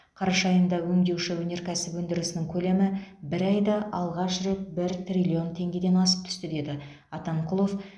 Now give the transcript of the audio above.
қараша айында өңдеуші өнеркәсіп өндірісінің көлемі бір айда алғаш рет бір триллион теңгеден асып түсті деді атамқұлов